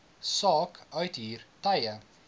saak uithuur tye